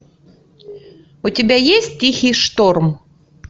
у тебя есть тихий шторм